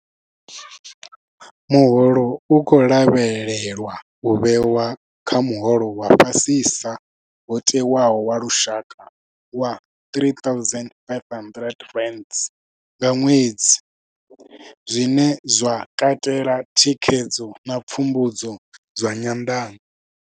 Muholo u khou lavhelelwa u vhewa kha muholo wa fhasisa wo tewaho wa lushaka wa R3 500 nga ṅwedzi, zwine zwa katela thikhedzo na pfumbudzo zwa nyanḓano.